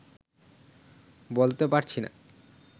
বলতে পারছি না